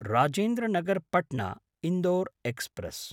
Rajendra Nagar पट्ना–इन्दोर् express